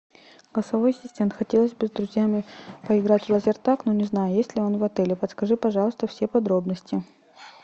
голосовой ассистент хотелось бы с друзьями поиграть в лазертаг но не знаю есть ли он в отеле подскажи пожалуйста все подробности